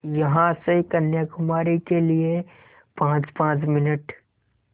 यहाँ से कन्याकुमारी के लिए पाँचपाँच मिनट